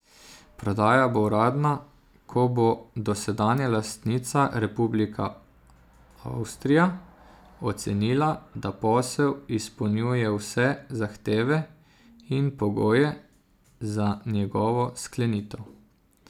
Prodaja bo uradna, ko bo dosedanja lastnica, republika Avstrija, ocenila, da posel izpolnjuje vse zahteve in pogoje za njegovo sklenitev.